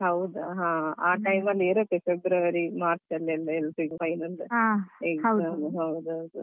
ಹೌದಾ ಹಾ ಆ time ಅಲ್ಲೇ ಇರುತ್ತೆ. February March ಹತ್ರ ಹತ್ರ final exam ಹೌದೌದು.